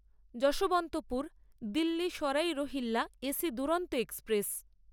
Yesvantpur Delhi Sarai Rohilla AC Duronto express